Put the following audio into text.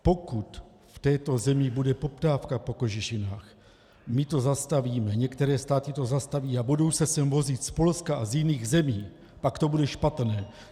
Pokud v této zemi bude poptávka po kožešinách, my to zastavíme, některé státy to zastaví, ale budou se sem vozit z Polska a z jiných zemí, pak to bude špatné.